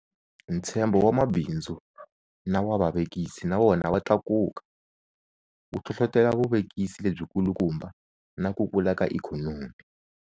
Ntshembo wa mabindzu na wa vavekisi na wona wa tlakuka, wu hlohlotela vuvekisi lebyikulukumba na ku kula ka ikhonomi.